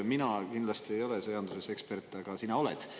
Mina kindlasti ei ole sõjanduse ekspert, aga sina oled.